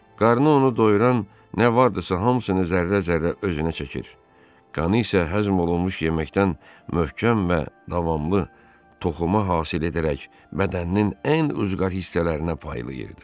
Qarnını onu doyuran nə vardırısa hamısını zərrə-zərrə özünə çəkir, qanı isə həzm olunmuş yeməkdən möhkəm və davamlı toxuma hasil edərək bədəninin ən uzqar hissələrinə paylayırdı.